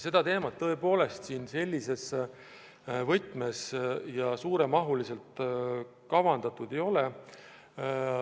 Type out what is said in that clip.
Seda teemat arengukavas tõepoolest selles võtmes ja suures mahus käsitletud ei ole.